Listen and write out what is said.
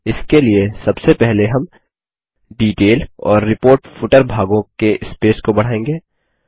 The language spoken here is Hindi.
इसके लिए सबसे पहले हम डिटेल और रिपोर्ट फूटर भागों के स्पेस को बढ़ाएँगे